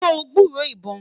sọ gburó ibọn?